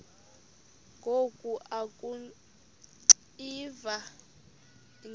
ngoku akuxiva iingalo